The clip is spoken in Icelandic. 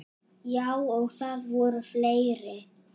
Já, og það voru fleiri.